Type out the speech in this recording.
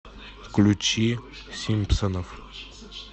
включи симпсонов